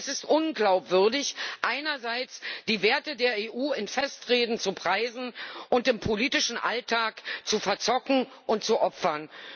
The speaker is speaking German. Es ist unglaubwürdig, einerseits die Werte der EU in Festreden zu preisen und sie andererseits im politischen Alltag zu verzocken und zu opfern.